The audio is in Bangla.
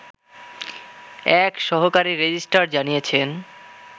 এক সহকারী রেজিস্ট্রার জানিয়েছেন